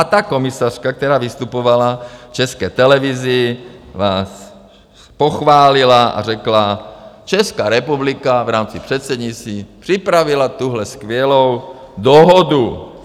A ta komisařka, která vystupovala v České televizi, vás pochválila a řekla: Česká republika v rámci předsednictví připravila tuhle skvělou dohodu.